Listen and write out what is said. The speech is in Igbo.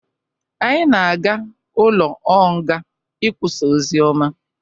Anyi na-ga ụlo ọ nga ị kwụsa ọzioma